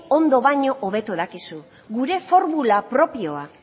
ondo baino hobeto dakizu gure formula propioa